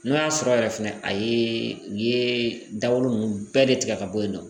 N'o y'a sɔrɔ yɛrɛ fɛnɛ a ye u ye dawolo ninnu bɛɛ de tigɛ ka bɔ yen nɔ